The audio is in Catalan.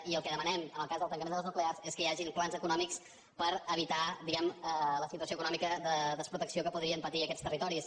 i el que demanem en el cas del tancament de les nuclears és que hi hagin plans econòmics per evitar la situació econòmica de desprotecció que podrien patir aquests territoris